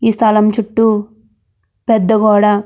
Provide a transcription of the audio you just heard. ఈ స్థలం చుట్టూ పెద్ద గోడ--